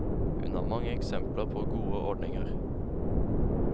Hun har mange eksempler på gode ordninger.